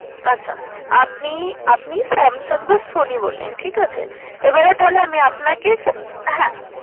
আচ্ছা আপনি আপনি Samsung বা Sony বললেন ঠিকাছে। এবারে তাহলে আমি আপনাকে ক~ হ্যাঁ